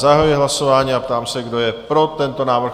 Zahajuji hlasování a ptám se, kdo je pro tento návrh?